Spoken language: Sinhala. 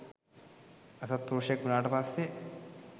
අසත්පුරුෂයෙක් වුණාට පස්සේ